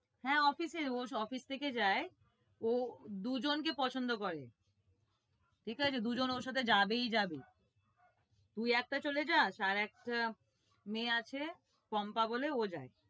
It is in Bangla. হ্যাঁ office এর ও office থেকে যায়, ও দুজনকে পছন্দ করে ঠিক আছে? দুজন ওর সাথে যাবেই যাবে, তুই একটা চলে যাস, আর একটা মেয়ে আছে পম্পা বলে ও যায়।